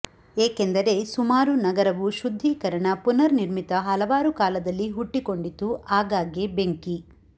ಏಕೆಂದರೆ ಸುಮಾರು ನಗರವು ಶುದ್ದೀಕರಣ ಪುನರ್ನಿರ್ಮಿತ ಹಲವಾರು ಕಾಲದಲ್ಲಿ ಹುಟ್ಟಿಕೊಂಡಿತು ಆಗಾಗ್ಗೆ ಬೆಂಕಿ